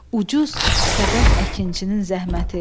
Ucuz fəqət əkinçinin zəhməti.